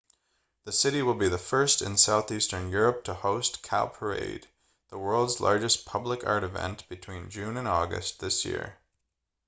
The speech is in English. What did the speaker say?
the city will be the first in southeastern europe to host cowparade the world's largest public art event between june and august this year